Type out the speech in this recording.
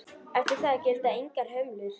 Eftir það gilda engar hömlur.